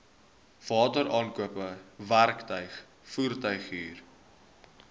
wateraankope werktuig voertuighuur